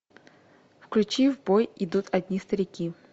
включи в бой идут одни старики